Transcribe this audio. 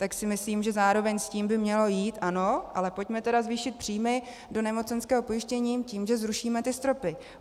Tak si myslím, že zároveň s tím by mělo jít, ano, ale pojďme tedy zvýšit příjmy do nemocenského pojištění tím, že zrušíme ty stropy.